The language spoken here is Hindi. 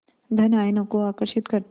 धन आयनों को आकर्षित करते हैं